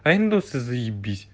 а индусы заебись